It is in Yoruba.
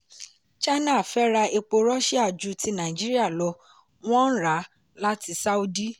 china fẹ́ra epo russia ju ti nàìjíríà lọ wọ́n ń ra láti sáúdí.